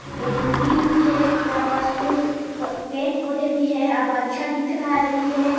ये मंदिर भी हे यहाँ पस फुल पेड़-पौधा भी है अब अच्छा दिख रहा भी है।